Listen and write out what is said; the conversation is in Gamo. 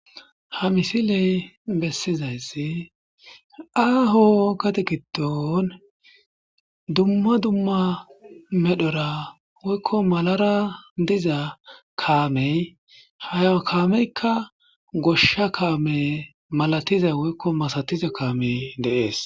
Ha misiley bessizayssi aaho kate gidon dumma dumma medhora woykko malara diza kaamey haya kaameykka goshsha kaame malatiza woykko masatiza kaamey deees